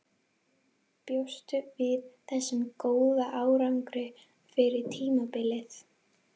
Bjóstu við þessum góða árangri fyrir tímabilið?